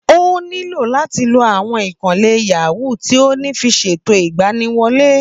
Ó nílò láti lo àwọn ìkànnlé yàwúu tí ó ní fi ṣètò ìgbaniwolé